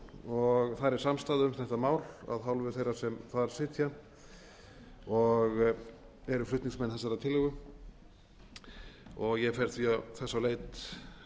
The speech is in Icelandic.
og þar er samstaða um það af hálfu þeirra sem þar sitja og eru flutningsmenn þessarar tillögu ég fer í þess því á leit